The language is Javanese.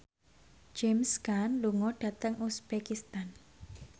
James Caan lunga dhateng uzbekistan